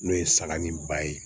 N'o ye saga ni ba ye